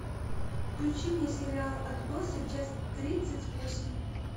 включи мне сериал отбросы часть тридцать восемь